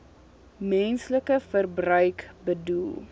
menslike verbruik bedoel